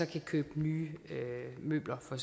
de købe nye møbler for